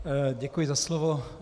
Děkuji za slovo.